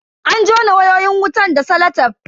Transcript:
An jona wayoyin wutan da salatef.